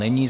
Není.